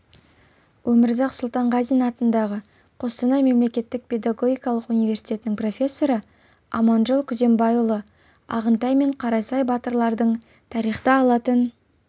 өмірзақ сұлтанғазин атындағы қостанай мемлекеттік педагогикалық университетінің профессоры аманжол күзембайұлы ағынтай мен қарасай батырлардың тарихта алатын